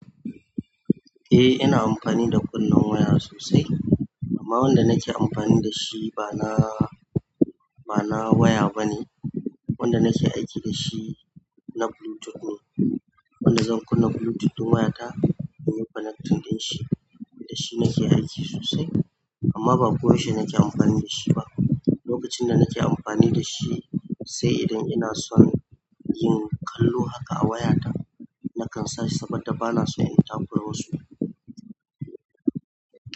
Eh ina amfani da kunnen waya sosai amma wanda nake amfani da shi ba na, ba na waya bane. Wanda nake aiki dashi na bluetooth ne, wanda zan kunna bluetooth ɗin wayata inyi connecting ɗinshi dashi nake aiki sosai, amma ba ko yaushe nake anfani dashi ba lokacin da nake amfani da shi sai idan ina son yin kallo haka a wayata na kansashi sabodda bana so in takura wasu.